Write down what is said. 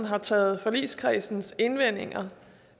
har taget forligskredsens indvendinger